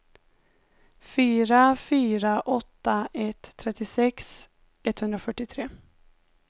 fyra fyra åtta ett trettiosex etthundrafyrtiotre